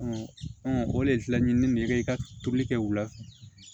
o de la ɲinini ne bɛ i ka tobili kɛ u la